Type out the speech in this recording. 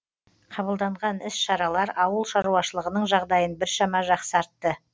қабылданған іс шаралар ауыл шаруашылығының жағдайын біршама жақсартты